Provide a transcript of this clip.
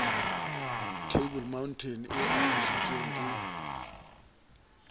table mountain e apesitsweng ke